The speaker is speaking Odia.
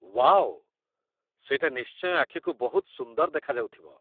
ୱାଓ! ସେଇଟା ନିଶ୍ଚୟ ଆଖିକୁ ବହୁତ ସୁନ୍ଦର ଦେଖାଯାଉଥିବ ।